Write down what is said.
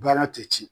Baara tɛ ci